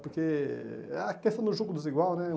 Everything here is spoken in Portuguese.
Porque é a questão do jugo desigual, né?